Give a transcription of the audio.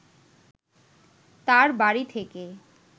তার বাড়ি থেকে